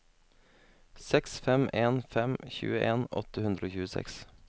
seks fem en fem tjueen åtte hundre og tjueseks